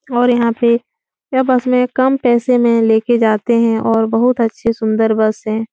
और यहां पे यह बस में कम पैसे में लेके जाते हैं और बहोत अच्छे सुंदर बस है।